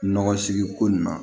Nɔgɔ sigi ko nin ma